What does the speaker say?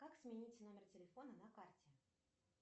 как сменить номер телефона на карте